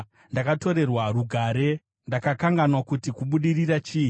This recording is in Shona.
Ndakatorerwa rugare; ndakakanganwa kuti kubudirira chii.